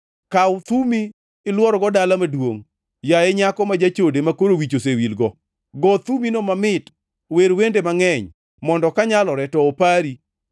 “Kaw thumi ilworgo dala maduongʼ, yaye nyako ma jachode makoro wich osewilgo, go thumino mamit, wer wende mangʼeny mondo kanyalore to opari.”